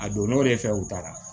A donn'o de fɛ u taara